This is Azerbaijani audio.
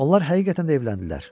Onlar həqiqətən də evləndilər.